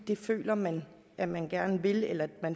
det føler man at man gerne vil eller det